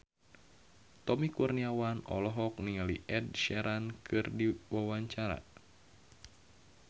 Tommy Kurniawan olohok ningali Ed Sheeran keur diwawancara